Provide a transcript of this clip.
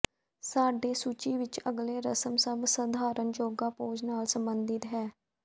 ਸਾਡੇ ਸੂਚੀ ਵਿੱਚ ਅਗਲੇ ਰਸਮ ਸਭ ਸਧਾਰਨ ਯੋਗਾ ਪੋਜ਼ ਨਾਲ ਸਬੰਧਿਤ ਹੈ